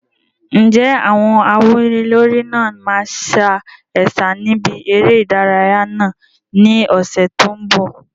Ǹjẹ́ àwọn awúnilórí náà máa sa ẹ̀sà níbi eré ìdárayá náà ní ọ̀sẹ̀ tó ń bọ̀?